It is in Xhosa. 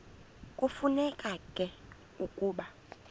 kufuneka ke ukuba